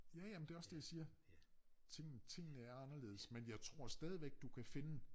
Ja ja men det også det jeg siger ting tingene er anderledes men jeg tror stadigvæk du kan finde